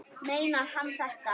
Meinar hann þetta?